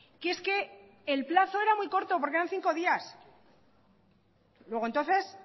que es que el plazo era muy corto porque eran cinco días luego entonces